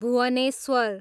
Bhubaneswar